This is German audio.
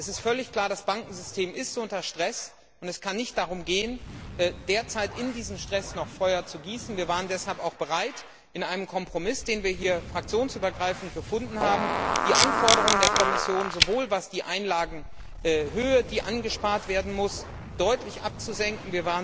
Es ist völlig klar Das Bankensystem ist unter Stress, und es kann nicht darum gehen, derzeit in diesen Stress noch Feuer zu gießen. Wir waren deshalb auch bereit, in einem Kompromiss, den wir hier fraktionsübergreifend gefunden haben, die Anforderungen der Kommission zur anzusparenden Einlagenhöhe deutlich abzusenken.